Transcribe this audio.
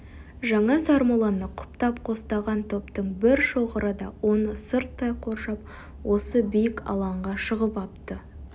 жаңа сармолланы құптап қостаған топтың бір шоғыры да оны сырттай қоршап осы биік алаңға шығып апты